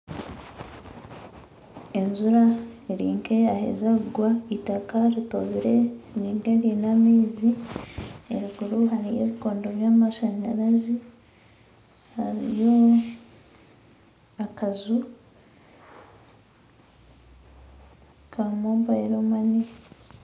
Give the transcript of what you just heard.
Enjura erinka eyaheeza kugwa itaaka ritobiire riri nk'eriine amaizi eruguru hariyo ebikondo by'amashanyarazi hariyo akanju ka Mobile money.